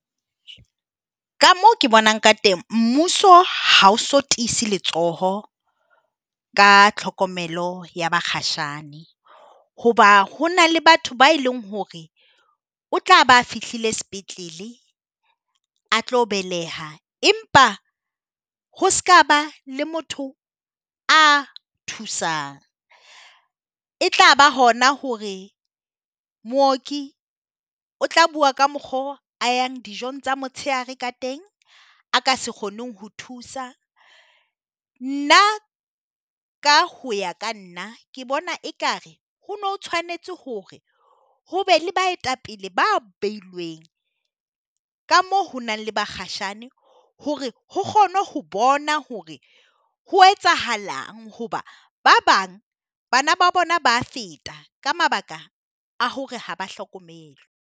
Ka moo ke bonang ka teng, mmuso ha o so tiise letsoho ka tlhokomelo ya bakgatjhane. Ho ba ho na le batho ba e leng hore o tla ba fihlile sepetlele a tlo beleha empa ho sekaba le motho a thusang. E tlaba hona hore mooki o tla bua ka mokgwa oo a yang dijong tsa motshehare ka teng, a ka se kgoneng ho thusa. Nna ka ho ya ka nna ke bona ekare ho ne ho tshwanetse hore hobe le baetapele ba behilweng ka moo ho nang le bakgatjhane hore ho kgone ho bonwa hore ho etsahalang hoba ba bang bana ba bona ba a feta ka mabaka a hore ha ba hlokomelwe.